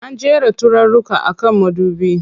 An jera turaruka a kan madubi.